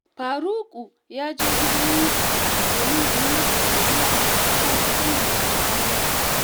Faruku ya je gidan Yusuf domin ya yi masa godiya a kan kuɗin da ya turo masa